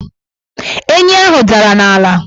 Enyi ahụ dara n' ala